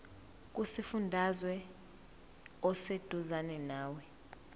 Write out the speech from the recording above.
kusifundazwe oseduzane nawe